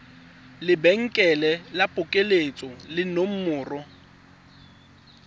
lebenkele la phokoletso le nomoro